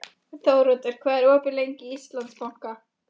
Þóroddur, hvað er opið lengi í Íslandsbanka?